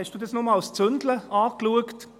Hast du das nur als «zünte» betrachtet?